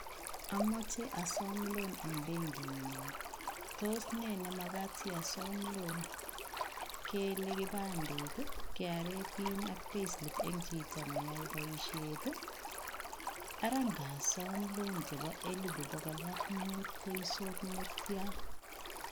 Amoche asom loan en benkingung, toos nee nemakat asii asom loan, kelee kipandet, KRA pin en chito neyoe boishet ii, araa ng'asom loan chebo elibu bokol ak mut koisut netian.